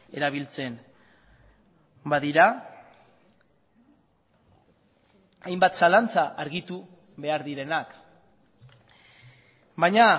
erabiltzen badira hainbat zalantza argitu behar direnak baina